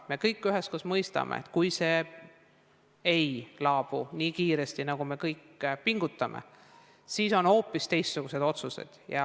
Me kõik üheskoos mõistame, et kui see ei laabu nii kiiresti, nagu me kõik pingutades loodame, siis tulevad hoopis teistsugused otsused.